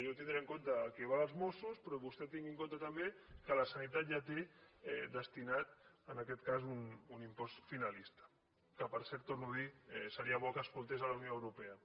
jo tindré en compte el que va als mossos però vostè tingui en compte també que la sanitat ja té destinat en aquest cas un impost finalista que per cert ho torno a dir seria bo que escoltés la unió europea